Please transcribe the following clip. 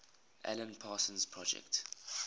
alan parsons project